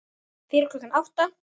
Fyrir klukkan átta?